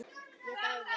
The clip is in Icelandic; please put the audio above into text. Ég dáði